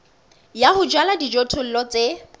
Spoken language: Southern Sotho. ya ho jala dijothollo tse